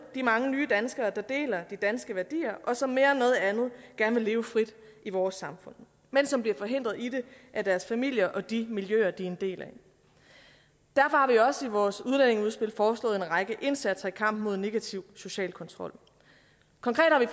de mange nydanskere der deler de danske værdier og som mere end noget andet gerne vil leve frit i vores samfund men som bliver forhindret i det af deres familier og de miljøer de er en del af derfor har vi også i vores udlændingeudspil foreslået en række indsatser i kampen mod negativ social kontrol konkret har vi